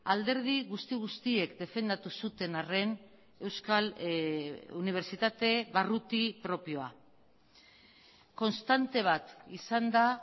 alderdi guzti guztiek defendatu zuten arren euskal unibertsitate barruti propioa konstante bat izan da